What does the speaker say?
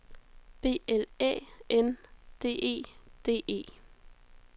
B L Æ N D E D E